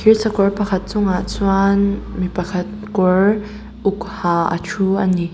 thirsakawr pakhat chungah chuan mi pakhat kawr uk ha a thu ani.